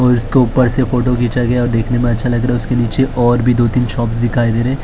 और इसके ऊपर से फोटो खिंचा गया और देखने में अच्छा लग रहा और उसके नीचे और भी दो तीन शॉप दिखाई दे रहे हैं --